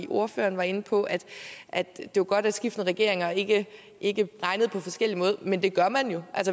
ordføreren var inde på at at det var godt at skiftende regeringer ikke ikke regnede på forskellige måder men det gør man jo